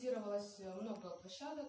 кирова все равно гроша